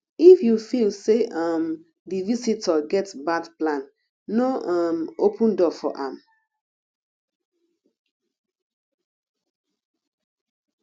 if you feel sey um di visitor get bad plan no um open door for am